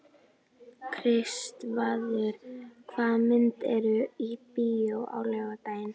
Kristvarður, hvaða myndir eru í bíó á laugardaginn?